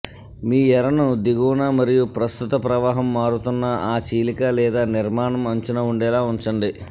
మీ ఎరను దిగువన మరియు ప్రస్తుత ప్రవాహం మారుతున్న ఆ చీలిక లేదా నిర్మాణం అంచున ఉండేలా ఉంచండి